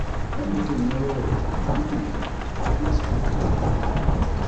Idan mutum ya yawaita tunani mai kyau, zai samu kwanciyar hankali.